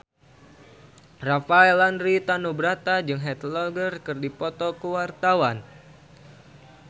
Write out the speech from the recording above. Rafael Landry Tanubrata jeung Heath Ledger keur dipoto ku wartawan